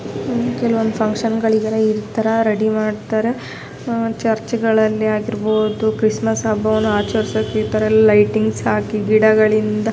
ಕೆಲವೊಂದ್ ಫುನ್ಕ್ಷನ್ ಗಳಿದರೆ ಇತರ ರೆಡಿ ಮಾಡ್ತಾರೆ. ಅಹ್ ಚುರ್ಚ್ಗ ಳಲ್ಲಿ ಆಗಿರ್ಬಹುದು ಕ್ರಿಸ್ಮಸ್ ಹಬ್ಬವನ್ನು ಆಚರಿಸೋಕೆ ಈ ತರ ಲೈಟಿಂಗ್ಸ್ ಹಾಕಿ ಗಿಡಗಳಿಂದ --